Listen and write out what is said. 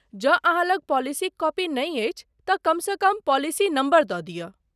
जँ अहाँ लग पॉलिसीक कॉपी नहि अछि तँ कमसँ कम पॉलिसी नम्बर दऽ दिअ।